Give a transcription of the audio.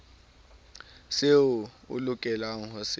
seo o lokelang ho se